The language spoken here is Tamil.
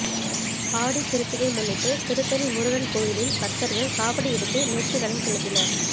ஆடிகிருத்திகை முன்னிட்டு திருத்தணி முருகன் கோயிலில் பக்தர்கள் காவடி எடுத்து நேர்த்தி கடன் செலுத்தினர்